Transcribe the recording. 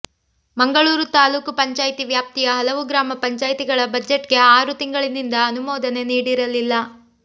ಮಂಗಳೂರು ತಾಲ್ಲೂಕು ಪಂಚಾಯಿತಿ ವ್ಯಾಪ್ತಿಯ ಹಲವು ಗ್ರಾಮ ಪಂಚಾಯಿತಿಗಳ ಬಜೆಟ್ಗೆ ಆರು ತಿಂಗಳಿನಿಂದ ಅನುಮೋದನೆ ನೀಡಿರಲಿಲ್ಲ